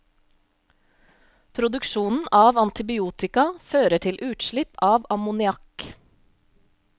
Produksjonen av antibiotika fører til utslipp av ammoniakk.